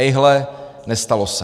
Ejhle, nestalo se.